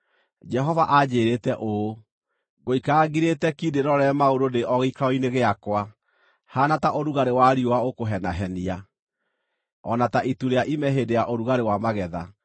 Jehova anjĩĩrĩte ũũ: “Ngũikara ngirĩte ki ndĩĩrorere maũndũ ndĩ o gĩikaro-inĩ gĩakwa, haana ta ũrugarĩ wa riũa ũkũhenahenia, o na ta itu rĩa ime hĩndĩ ya ũrugarĩ wa magetha.”